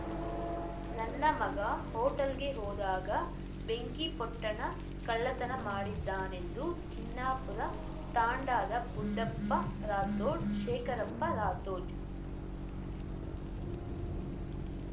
ನನ್ನ ಮಗ ಹೋಟೆಲ್‌ಗೆ ಹೋದಾಗ ಬೆಂಕಿ ಪೊಟ್ಟಣ ಕಳ್ಳತನ ಮಾಡಿದ್ದಾನೆಂದು ಜಿನ್ನಾಪುರ ತಾಂಡಾದ ಬುಡ್ಡಪ್ಪ ರಾಥೋಡ್‌ ಶೇಖರಪ್ಪ ರಾಥೋಡ್‌